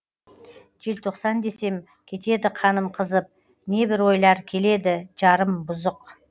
желтоқсан десем кетеді қаным қызып не бір ойлар келеді жарым бұзық